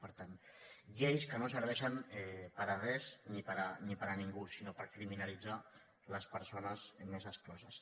per tant lleis que no serveixen per a res ni per a ningú sinó per criminalitzar les persones més excloses